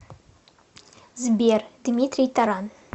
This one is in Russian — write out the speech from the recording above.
сбер дмитрий таран